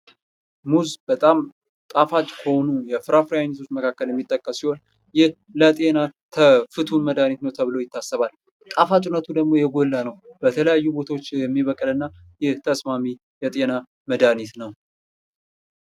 ሙዝ በጣም ጣፋጭ ከሆኑ የፍራፍሬ አይነቶች የሚጠቀስ ሲሆን ለጤና ፍቱን መዳኒት ነው ተብሎ ይታሰባል። ጣፋጭነቱ ደግሞ የጎላና ነው በተለያየ ቦታዎች የሚበቅል እና ለጤና ተስማሚ ነው::